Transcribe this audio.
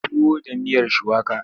Tuwo da miyar shuwaka.